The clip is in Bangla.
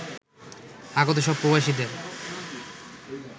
আগত সব প্রবাসীদের